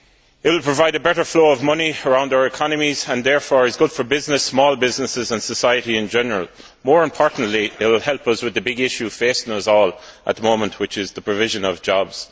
It will provide a better flow of money around our economies and therefore is good for business, small businesses and society in general. More importantly, it will help us with the big issue facing us all at the moment, which is the provision of jobs.